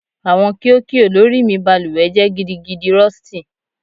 Awọn kio kio lori mi baluwe jẹ gidigidi Rusty